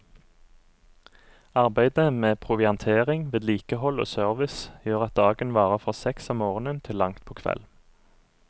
Arbeid med proviantering, vedlikehold og service gjør at dagen varer fra seks om morgenen til langt på kveld.